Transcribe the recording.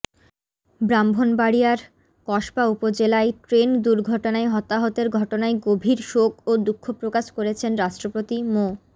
ব্রাহ্মণবাড়িয়ার কসবা উপজেলায় ট্রেন দুর্ঘটনায় হতাহতের ঘটনায় গভীর শোক ও দুঃখ প্রকাশ করেছেন রাষ্ট্রপতি মো